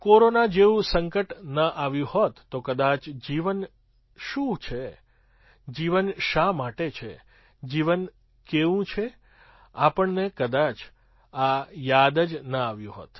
corona જેવું સંકટ ન આવ્યું હોત તો કદાચ જીવન શું છે જીવન શા માટે છે જીવન કેવું છે આપણને કદાચ આ યાદ જ ન આવ્યું હોત